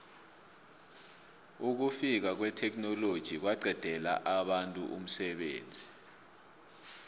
ukufika kwetheknoloji kwaqedela abantu umsebenzi